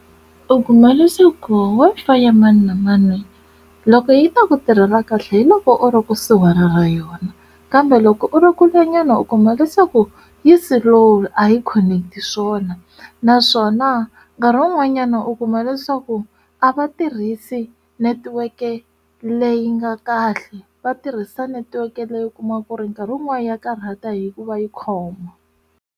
U kuma leswaku Wi-Fi ya mani na mani loko yi ta ku tirhela kahle hi loko u ri kusuhi na yona kambe loko u ri kule nyana u kuma leswaku yi se loko a yi khoneketi swona naswona nkarhi wun'wanyana u kuma leswaku a va tirhisi netiweke leyi nga kahle va tirhisa netiweke leyo kuma ku ri nkarhi wun'wani ya karhata hikuva yi khoma.